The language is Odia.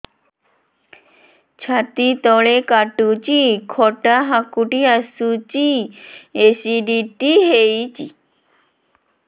ଛାତି ତଳେ କାଟୁଚି ଖଟା ହାକୁଟି ଆସୁଚି ଏସିଡିଟି ହେଇଚି